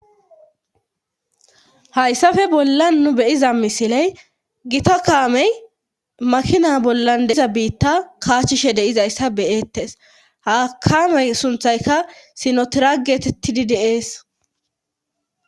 Hayssafe bollan nu beyiza misiley gita kaamey makina bollan deiza biitta kaachchishe deizayssa beyeettes hakaamey sunthayka sinotirageteti di dees.